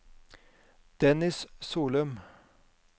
Dennis Solum